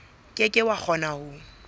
ke ke wa kgona ho